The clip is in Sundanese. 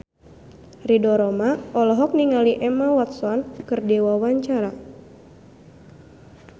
Ridho Roma olohok ningali Emma Watson keur diwawancara